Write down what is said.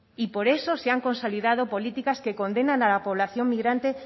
y por eso se han consolidado políticas que condenan a la población migrante